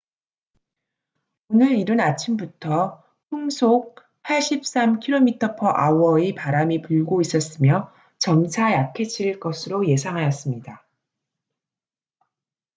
오늘 이른 아침부터 풍속 83km/h의 바람이 불고 있었으며 점차 약해질 것으로 예상하였습니다